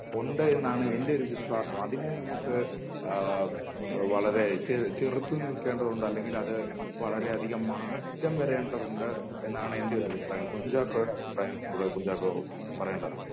ഉണ്ട് എന്നാണ് എൻ്റെ ഒരു വിശ്വാസം അതിനെ നമുക്ക് അഹ് വളരേ ചെ ചെറുത്ത് നിൽക്കേണ്ടതുണ്ട് അല്ലെങ്കിൽ അത് വളരെയധികം മാറ്റം വരേണ്ടതുണ്ട് എന്നാണ് എൻ്റെ ഒരു അഭിപ്രായം കുഞ്ചാക്കോയുടെ അഭിപ്രായം ഇവിടെ കുഞ്ചാക്കോ പറയേണ്ടതാണ്